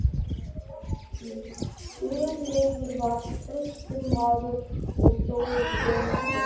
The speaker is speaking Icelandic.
Guðlaugur var traustur maður og stóð við sitt.